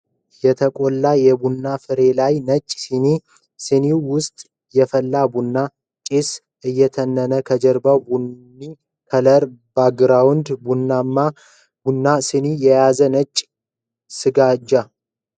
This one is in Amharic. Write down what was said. የተቆላ የቡና ፍሬ ላይ ነጭ ሲኒ ፤ ሲኒው ውስጥ የፈላ ቡና ፤ ጭስ እየተነነ ከጀርባው ቡኒ ከለር ባግራውንድ ፤ ቡናውንም ሲኒውንም የያዘ ነጭ ስጋጃ